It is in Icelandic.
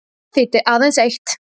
Það þýddi aðeins eitt.